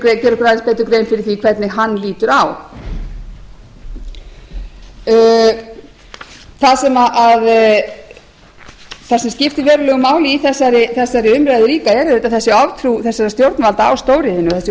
fyrir því hvernig hann lítur á það sem skiptir verulegu máli í þessari umræðu líka er auðvitað þessi oftrú þessara stjórnvalda á stóriðjunni þessi